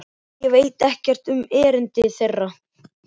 Ég veit ekkert um erindi þeirra.